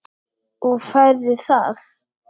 Og færðu það?